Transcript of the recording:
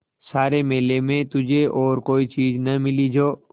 सारे मेले में तुझे और कोई चीज़ न मिली जो